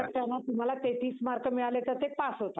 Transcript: त्याच्यात तुम्हाला तेहतीस mark मिळाले तर ते पास होतात.